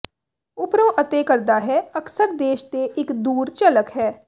ਓਪਰੇ ਅਤੇ ਕਰਦਾ ਹੈ ਅਕਸਰ ਦੇਸ਼ ਦੇ ਇਕ ਦੂਰ ਝਲਕ ਹੈ